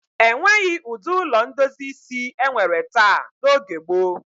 E nweghi ụdị ụlọ ndozi isi e nwere taa n'oge gboo.